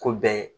Ko bɛɛ ye